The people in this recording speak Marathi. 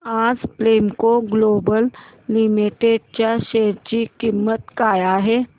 आज प्रेमको ग्लोबल लिमिटेड च्या शेअर ची किंमत काय आहे